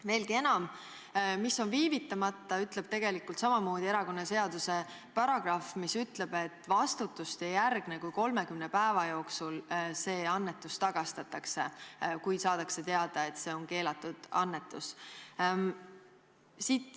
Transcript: Veelgi enam, seda, mis tähendab viivitamata, ütleb tegelikult samamoodi erakonnaseaduse paragrahv, kus on öeldud, et vastutust ei järgne, kui 30 päeva jooksul see annetus tagastatakse, kui saadakse teada, et see on keelatud annetus.